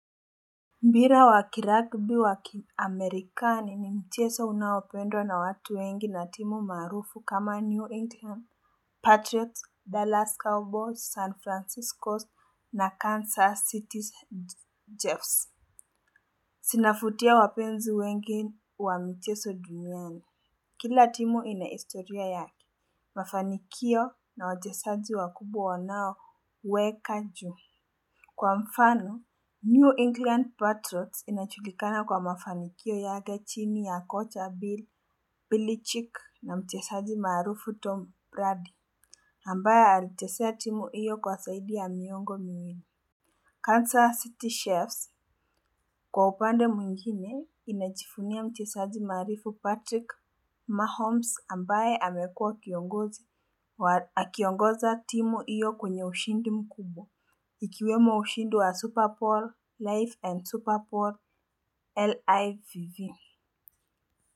Mpira wa kiragbi waki amerikani ni mchezo unaopendwa na watu wengi na timu marufu kama New England Patriots, Dallas Cowboys, San Francisco na Kansas City Jeffs. Zinafutia wapenzi wengi wa mchezo duniani. Kila timu ina historia yake. Mafanikio na wajezaji wakubwa wanao weka ju. Kwa mfano, New England Patriots inajulikana kwa mafanikio yake chini ya kocha Bill, Billy Chick na mchezaji maarufu Tom Brady, ambaye alichezea timu hiyo kwa zaidi ya miongo miwili. Kansa City Chiefs, kwa upande mwingine, inajivunia mchezaji marufu Patrick Mahomes ambaye amekua kiongozi wa akiongoza timu hiyo kwenye ushindi mkubwa. Ikiwemo ushindi wa Superball, Life and Superball, LIVV.